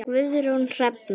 Guðrún Hrefna.